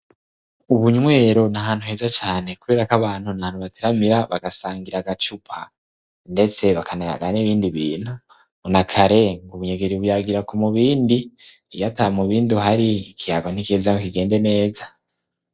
Ubunywero n'ahantu heza cane, kubera kw'abantu nahantu bateramira bagasangir'agacupa ndetse bakanayaga n' ibindi bintu ,nakare ng'ubunyegeri buyagira k' umubindi, iyata mubindi uhari ikiyago ntigiheza ngo kigende neza.